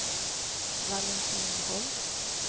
Valentin Holst